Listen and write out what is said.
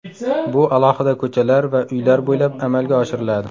Bu alohida ko‘chalar va uylar bo‘ylab amalga oshiriladi.